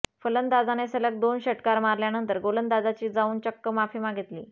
फलंदाजाने सलग दोन षटकार मारल्यानंतर गोलंदाजाची जाऊन चक्क माफी मागितली